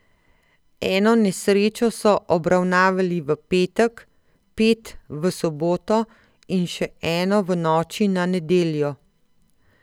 Eno nesrečo so obravnavali v petek, pet v soboto in še eno v noči na nedeljo.